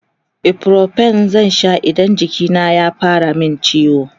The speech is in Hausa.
ibuprofen zan Sha in jiki ya fara min ciwo